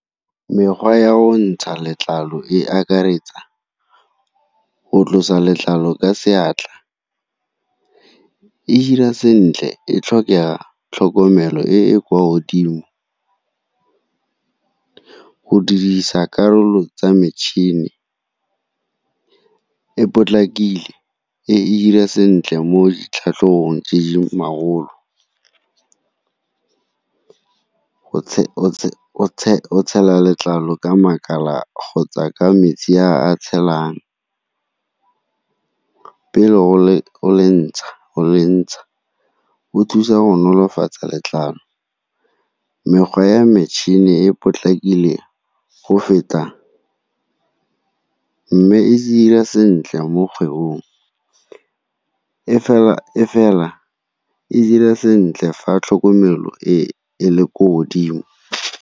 Mekgwa ya go ntsha letlalo e akaretsa go tlosa letlalo ka seatla, e hira sentle e tlhokega tlhokomelo e e kwa godimo. Go dirisa karolo tsa metšhini e potlakile e e dira sentle mo ditlhatlhobong tse di go tshela letlalo ka makala kgotsa ka metsi a tshelang pele o le ntsha o thusa go nolofatsa letlalo. Mekgwa ya metšhini e potlakile go feta mme e dira sentle mo kgwebong e fela e dira sentle fa tlhokomelo e le ko godimo.